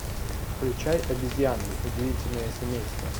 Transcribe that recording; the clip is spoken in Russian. включай обезьяны удивительное семейство